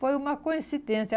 Foi uma coincidência.